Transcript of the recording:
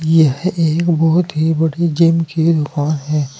यह एक बहोत ही बड़ी जिम की दुकान है।